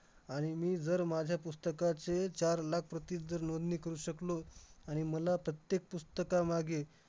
आणि त्या sports मध्ये मला वाटलं नव्हतं पण मी उत्तम प्रदर्शन दिल madam आणि त्यावर्षी मला सगळ्यात उत्कृष्ट विद्यार्थी हा पुरस्कार शाळेत करून देण्यात आला